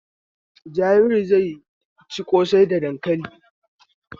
Jabiru zai ci ƙosai da dankali.